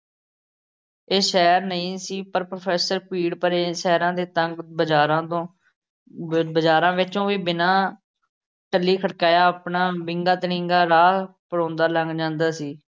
ਇਹ ਸ਼ਹਿਰ ਨਹੀਂ ਸੀ। ਪਰ professor ਭੀੜ ਭਰੇ ਸ਼ਹਿਰਾ ਦੇ ਤੰਗ ਬਾਜ਼ਾਰਾਂ ਤੋਂ, ਬ ਬਜ਼ਾਰਾਂ ਵਿੱਚੋਂ ਕੋਈ ਬਿਨਾ ਟੱਲੀ ਖੜਕਾਇਆ ਆਪਣਾ ਵਿੰਗਾ ਤੜਿੰਗਾ ਰਾਹ ਪਰਾਉਂਦਾ ਲੰਘ ਜਾਂਦਾ ਸੀ।